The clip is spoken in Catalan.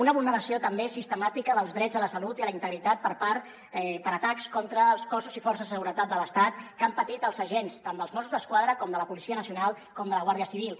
una vulneració també sistemàtica dels drets a la salut i a la integritat per atacs contra els cossos i forces de seguretat de l’estat que han patit els agents tant dels mossos d’esquadra com de la policia nacional com de la guàrdia civil